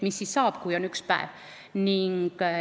Mis siis saab, kui on üks vanem?